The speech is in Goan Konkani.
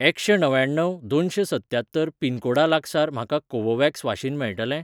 एकशें णव्याण्णव दोनशें सत्त्यात्तर पिनकोडा लागसार म्हाका कोवोव्हॅक्स वाशीन मेळटलें ?